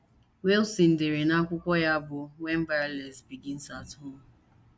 Wilson dere n’akwụkwọ ya bụ́ When Violence Begins at Home.